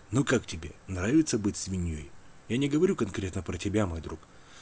ну как тебе нравится быть свиньёй я не говорю конкретно про тебя мой друг